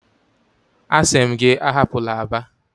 Asi m gi ahapula Aba!